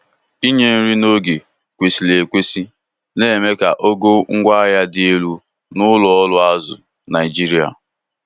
inye nri n'oge kwesịrị ekwesị na-eme ka ogo ngwaahia dị elu na ụlọ ọrụ azụ Naijiria